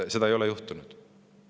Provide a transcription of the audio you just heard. Seda ei ole juhtunud.